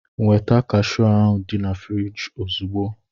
Nweta kashụụ dị na friji ozugbo!